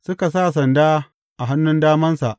Suka sa sanda a hannun damansa.